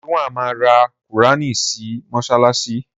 Ridwan ma ra qùránì si sí mọ́ṣáláṣí